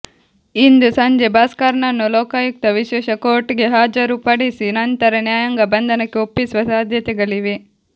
ಇಂದು ಸಂಜೆ ಭಾಸ್ಕರ್ನನ್ನು ಲೋಕಾಯುಕ್ತ ವಿಶೇಷ ಕೋರ್ಟ್ಗೆ ಹಾಜರು ಪಡಿಸಿ ನಂತರ ನ್ಯಾಯಾಂಗ ಬಂಧನಕ್ಕೆ ಒಪ್ಪಿಸುವ ಸಾಧ್ಯತೆಗಳಿವೆ